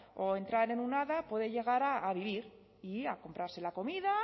o entrar en un ad puede llegar a vivir y a comprarse la comida